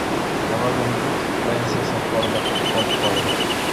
робин гуд фрэнсиса форда копполы